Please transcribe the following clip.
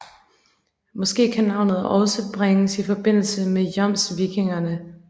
Måske kan navnet også bringes i forbindelse med jomsvikingerne